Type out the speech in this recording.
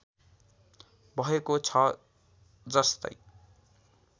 भएको छ जस्तै